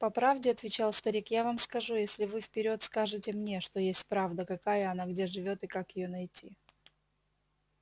по правде отвечал старик я вам скажу если вы вперёд скажете мне что есть правда какая она где живёт и как её найти